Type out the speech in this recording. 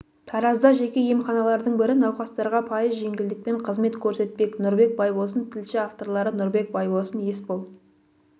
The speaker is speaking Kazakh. таразда жеке емханалардың бірі науқастарға пайыз жеңілдікпен қызмет көрсетпек нұрбек байбосын тілші авторлары нұрбек байбосын есбол